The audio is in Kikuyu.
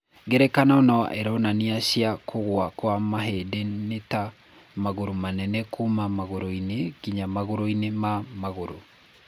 Ngerekano na ironania cia kũgũa kwa mahĩndĩ nĩ ta magũrũ manene kuuma magũrũ-inĩ nginya magũrũ-inĩ ma magũrũ.